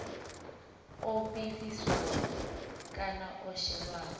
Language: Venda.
o vhiliswaho kana o shelwaho